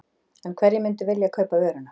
En hverjir myndu vilja kaupa vöruna?